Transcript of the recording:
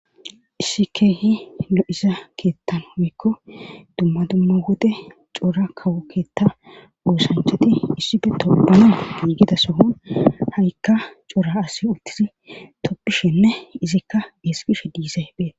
issi keehi lo7iza keettan oykko dumma dumma wode cora kawokkeetta woosancheti issife topbana giigida sohon ha7ikka cora asi uttizi toppishenne izikka esqishe diise pee